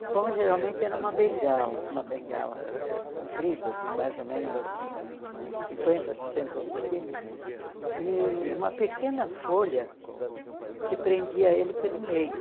O pão geralmente era uma bengala, uma bengala comprida de mais ou menos uns cinquenta, sessenta centímetros, e uma pequena folha que prendia ele pelo meio.